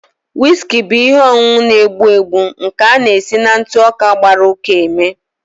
Whiski bụ ihe ọṅụṅụ na-egbu egbu nke a na-esi na ntụ ọka gbara uka eme